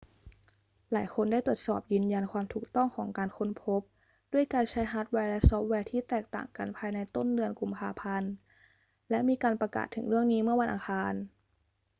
หลายคนได้ตรวจสอบยืนยันความถูกต้องของการค้นพบด้วยการใช้ฮาร์ดแวร์และซอฟต์แวร์ที่แตกต่างกันภายในต้นเดือนกุมภาพันธ์ และมีการประกาศถึงเรื่องนี้เมื่อวันอังคาร